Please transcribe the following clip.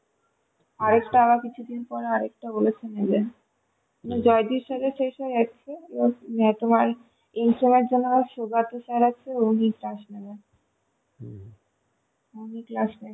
আরেকটা আবার কিছুদিন পর বলেছে আরেকটা নেবে জয়দ্বীপ sir এর শেষ হয়ে যাচ্ছে এবার তোমার জন্যে তোমার সুকান্ত sir আছে উনি class নেবেন উনি class নেবেন